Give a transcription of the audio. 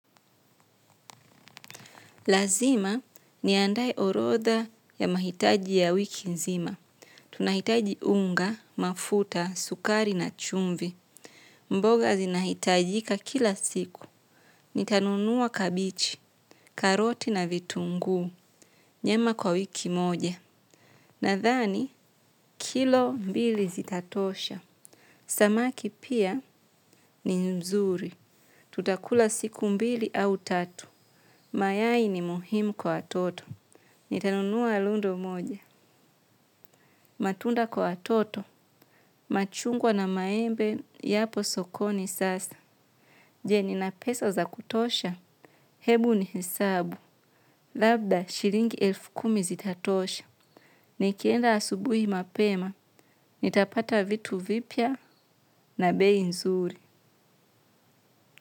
Lazima niandae orodha ya mahitaji ya wiki nzima. Tunahitaji unga, mafuta, sukari na chumvi. Mboga zinahitajika kila siku. Nitanunuwa kabichi, karoti na vitunguu. Nyama kwa wiki moja nadhani kilo mbili zitatosha. Samaki pia ni mzuri. Tutakula siku mbili au tatu. Mayai ni muhimu kwa watoto. Nitanunuwa rundo moja, matunda kwa watoto, machungwa na maembe, yapo sokoni sasa. Je, nina pesa za kutosha, hebu ni hesabu, labda shilingi elfu kumi zitatosha. Nikienda asubuhi mapema, nitapata vitu vipya na bei nzuri.